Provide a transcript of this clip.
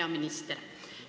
Hea minister!